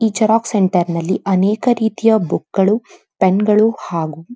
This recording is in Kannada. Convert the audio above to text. ಈ ಜೆರೊಕ್ಸ್ ಸೆಂಟರ್ ನಲ್ಲಿ ಹಾಗು ಅನೇಕ ರೀತಿಯ ಬುಕ್ ಗಳು ಪೆನ್ಗಳು ಹಾಗು --